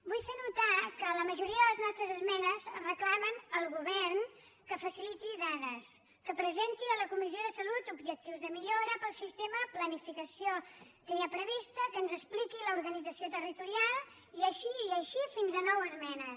vull fer notar que la majoria de les nostres esmenes reclamen al govern que faciliti dades que presenti a la comissió de salut objectius de millora per al sistema planificació que hi ha prevista que ens expliqui l’organització territorial i així i així fins a nou esmenes